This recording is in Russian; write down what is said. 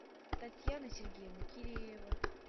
татьяна сергеевна киреева